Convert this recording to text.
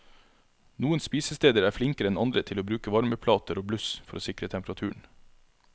Noen spisesteder er flinkere enn andre til å bruke varmeplater og bluss for å sikre temperaturen.